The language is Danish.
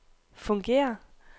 fungerer